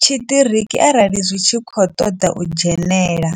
tshiṱiriki arali zwi tshi khou ṱoḓa u dzhenela.